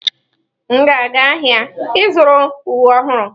M ga-aga ahịa ịzụrụ uwe ọhụrụ.